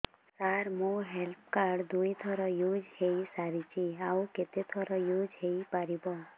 ସାର ମୋ health card ଦୁଇ ଥର ୟୁଜ଼ ହୈ ସାରିଛି ଆଉ କେତେ ଥର ୟୁଜ଼ ହୈ ପାରିବ